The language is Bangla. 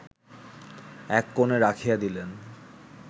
এককোণে রাখিয়া দিলেন